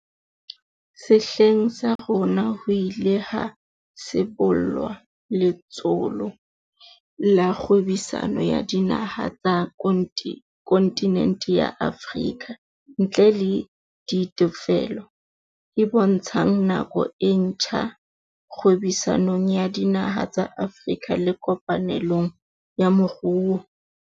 Sehleng sa rona ho ile ha sibollwa Letsholo la Kgwebisano ya Dinaha tsa kontinente ya Afrika ntle le ditefello, e bontshang nako e ntjha kgwebisanong ya dinaha tsa Afrika le kopanelong ya moruo.